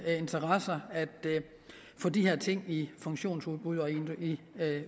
interesser at få de her ting i funktionsudbud og i